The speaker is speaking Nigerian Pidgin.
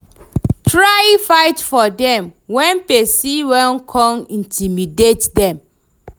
Try fight for dem wen pesin wan con intimidate dem